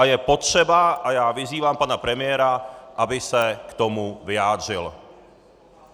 A je potřeba, a já vyzývám pana premiéra, aby se k tomu vyjádřil.